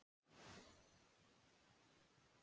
Engir aðrir kostur eru í boði.